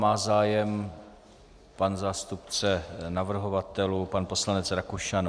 Má zájem pan zástupce navrhovatelů pan poslanec Rakušan?